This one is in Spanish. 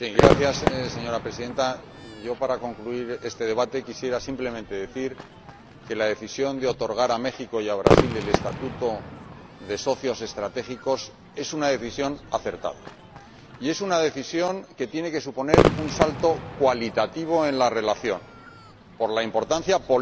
Señora Presidenta, para concluir este debate quisiera decir simplemente que la decisión de otorgar a México y a Brasil el estatuto de socios estratégicos es una decisión acertada, y es una decisión que tiene que suponer un salto cualitativo en la relación, por la importancia política,